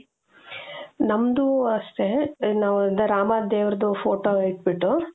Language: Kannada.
ನಮ್ದು ಅಷ್ಟೆ ನಾವು ರಾಮ ದೇವರದ್ದು photo ಇಟ್ಟು ಬಿಟ್ಟು.